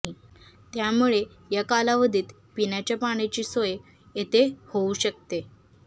त्यामुळे या कालावधीत पिण्याच्या पाण्याची सोय येथे होऊ शकते